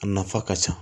A nafa ka ca